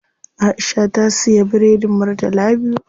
Aisha ta siya biredin murtala biyu.